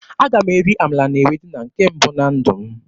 Aga m eri amala na ewedu na nke mbụ na ndụ m.